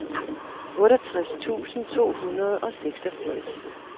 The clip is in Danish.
otteogtres tusind to hundrede og seksogfirs